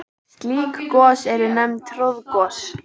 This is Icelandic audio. Slík gos eru nefnd troðgos.